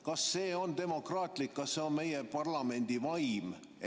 Kas see on demokraatlik, kas see on meie parlamendi vaim?